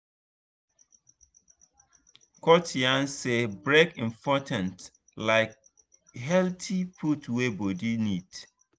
coach yarn say break important like healthy food wey body need.